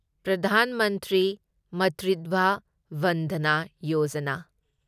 Pradhan Mantri Matritva Vandana Yojana